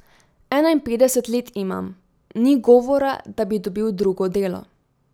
Enainpetdeset let imam, ni govora, da bi dobil drugo delo.